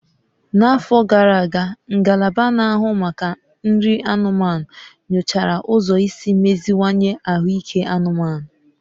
N'afọ gara aga, Ngalaba Na-ahụ Maka Nri anụmanụ nyochara ụzọ isi meziwanye ahụike anụmanụ